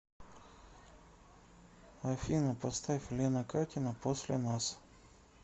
афина поставь лена катина после нас